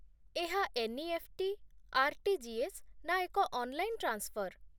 ଏହା NEFT., RTGS., ନା ଏକ ଅନ୍‌ଲାଇନ୍ ଟ୍ରାନ୍ସଫର୍ ?